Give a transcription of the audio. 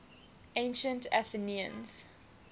ancient athenians